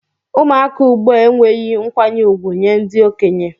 Ụmụaka ugbua enwehi nkwanye ugwu nye ndi okenye.